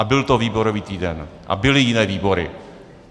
A byl to výborový týden a byly jiné výbory.